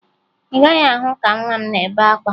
Ị gaghị ahụ ka nwa m na-ebe akwa